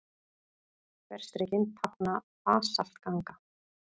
Þverstrikin tákna basaltganga.